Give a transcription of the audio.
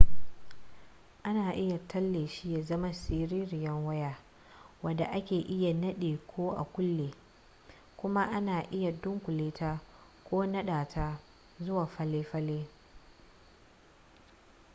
ana iya tale shi ya zama siririyar waya wadda ake iya nadewa ko a kulle kuma ana iya dunkule ta ko nada ta zuwa falle falle